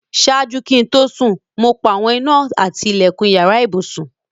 Ṣáàjú kí n tó sún, mo pa awọn ìnà àti tí ilẹ̀kún ìyàrà ìbùṣún.